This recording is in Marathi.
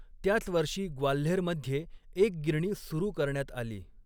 त्याच वर्षी ग्वाल्हेरमध्ये एक गिरणी सुरू करण्यात आली.